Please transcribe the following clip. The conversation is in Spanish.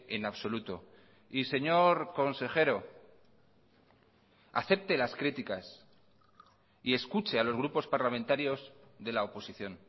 en absoluto y señor consejero acepte las críticas y escuche a los grupos parlamentarios de la oposición